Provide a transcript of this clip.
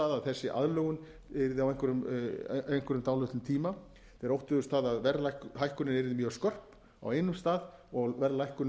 þessi aðlögun yrði á einhverjum dálitlum tíma þeir óttuðust það að verðhækkunin yrði mjög skörp á einum stað og verðlækkunin